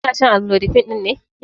Kina shan amlodipine ɗin ne yanzun?